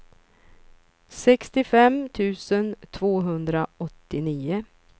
sextiofem tusen tvåhundraåttionio